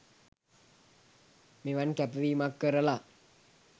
මෙවන් කැපවීමක් කරලා